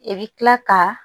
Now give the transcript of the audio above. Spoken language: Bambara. I bɛ tila ka